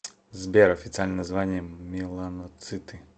сбер официальное название меланоциты